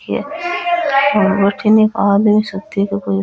और बठन एक आदमी सूतो --